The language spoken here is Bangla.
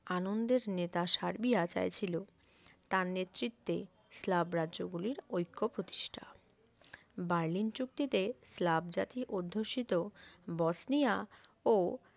আনন্দের নেতা সার্বিয়া চাইছিলো তার নেতৃত্বে স্ল্যাব রাজ্যগুলির ঐক্য প্রতিষ্ঠা বার্লিন চুক্তিতে স্ল্যাব জাতী অধ্যুষিত বসনিয়া ও